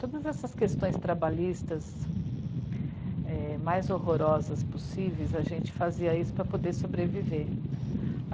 Todas essas questões trabalhistas é... mais horrorosas possíveis, a gente fazia isso para poder sobreviver.